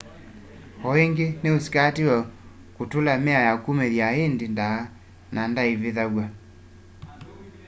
o ĩngi ni usikatĩitwe kutula mĩao ya kumĩthya indĩ ndaa na ndaaĩvĩthwa